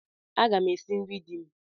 Aga m esi nri di m.